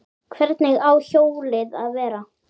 Hvernig á hjólið að vera?